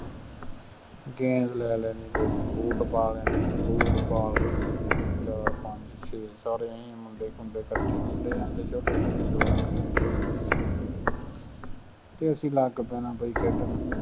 ਗੇਂਦ ਲੈ ਲੈਣੀ ਅਤੇ ਬੂਟ ਪਾ ਲੇਣੇ, ਬੂਟ ਪਾ ਕੇ ਅਸੀਂ ਚਾਰ, ਪੰਜ, ਛੇ ਸਾਰੇ ਆਏਂ ਮੁੰਡੇ ਖੁੰਡੇ ਇਕੱਠੇ ਹੁੰਦੇ ਜਾਂਦੇ ਸੀ ਉੱਥੇ ਛੋਟੇ ਜਵਾਕ ਵੀ ਜਿੰਨੇ ਵੀ ਅਸੀਂ ਅਤੇ ਅਸੀਂ ਲੱਗ ਪੈਣਾ ਬਈ ਖੇਡਣ।